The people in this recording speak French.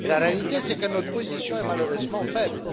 La réalité, c'est que notre position est malheureusement faible.